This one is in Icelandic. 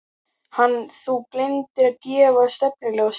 Hann: Þú gleymdir að gefa stefnuljós.